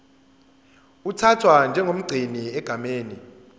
uthathwa njengomgcini egameni